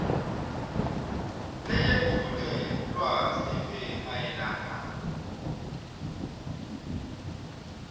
leyetfulelwa sive mayelana